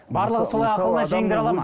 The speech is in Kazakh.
барлығы солай ақылына жеңдіре алады ма